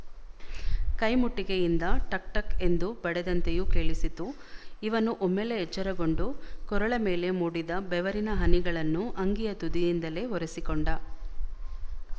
ಕೈಮುಟ್ಟಿಗೆಯಿಂದ ಟಕ್ಟಕ್ ಎಂದು ಬಡೆದಂತೆಯೂ ಕೇಳಿಸಿತು ಇವನು ಒಮ್ಮೆಲೇ ಎಚ್ಚರಗೊಂಡು ಕೊರಳ ಮೇಲೆ ಮೂಡಿದ ಬೆವರಿನ ಹನಿಗಳನ್ನು ಅಂಗಿಯ ತುದಿಯಿಂದಲೇ ಒರೆಸಿಕೊಂಡ